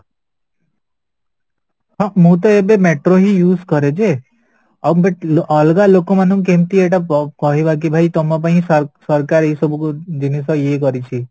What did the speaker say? ହଁ ମୁତ ଏବେ metro ହିଁ use କରଯେ ଆଉ but ଅଲଗା ଲୋକମାନଙ୍କୁ କେମିତି ଏଇଟା କହିବା କି ଭାଇ ତମ ପାଇଁ ସରକାରୀ ଏ ସବୁକୁ ଜିନିଷ ଇଏ କରିଛି